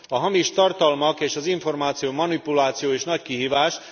A hamis tartalmak és az információ manipulációja is nagy kihívás.